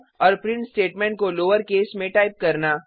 और print statement को lower case में टाइप करना